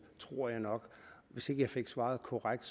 hvis ikke jeg fik svaret korrekt